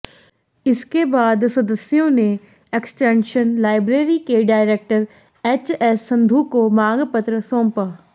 इसके बाद सदस्यों ने एक्सटेंशन लाइब्रेरी के डायरेक्टर एचएस संधू को मांगपत्र सौंपा